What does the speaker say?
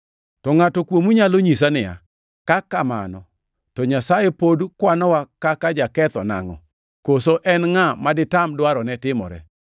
To ngʼato kuomu nyalo nyisa niya, “Ka kamano to Nyasaye pod kwanowa kaka joketho nangʼo? Koso en ngʼa ma ditam dwarone timore?”